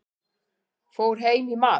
Fór heim í mat.